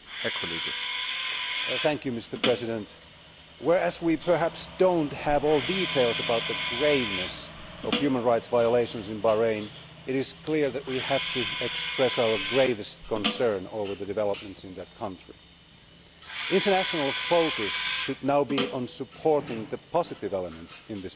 Mr President, whereas we perhaps do not have all details about the graveness of human rights violations in Bahrain, it is clear that we have to express our gravest concern over the developments in that country. International focus should now be on supporting the positive elements in this matter.